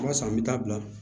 O b'a sɔrɔ an bɛ taa bila